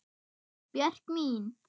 Björk mín.